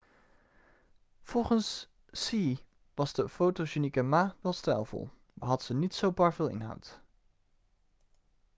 volgens hsieh was de fotogenieke ma wel stijlvol maar had ze niet zo bar veel inhoud